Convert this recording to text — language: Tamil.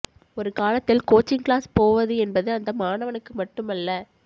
ஒரு காலத்தில் கோச்சிங் க்ளாஸ் போவது என்பது அந்த மாணவனுக்கு மட்டுமல்ல